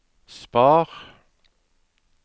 spar